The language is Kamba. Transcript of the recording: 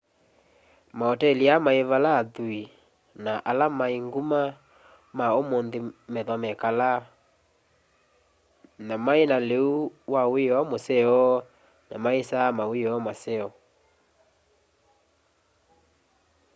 maoteli aa mai vala athui na ala mai nguma ma umunthi methwa mekalaa na maina liu wa wioo museo na maisa ma wioo maseo